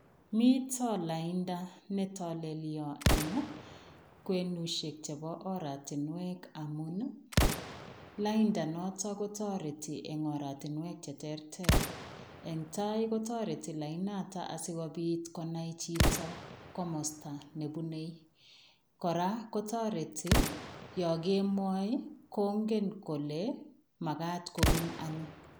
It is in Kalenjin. Mito lainda ne tolelio eng kwenusiek chebo oratinwek amun, lainda notet kotareti eng oratinwek che terter. Eng tai kotoreti lainoto asigopit konai chito komosta ne bunei. Kora kotoreti yo kemoi kongen kole magat kopun ano.